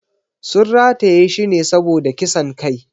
Sun rataye shi ne saboda kisan kai.